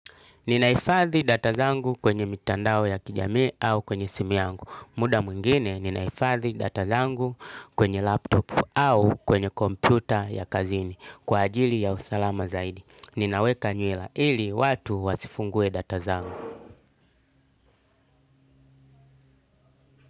Nina hifadhi data zangu kwenye mitandao ya kijamii au kwenye simu yangu. Muda mwingine, ninahifadhi data zangu kwenye laptop au kwenye kompyuta ya kazini. Kwa ajili ya usalama zaidi. Ninaweka nywela ili watu wasifungue data zangu.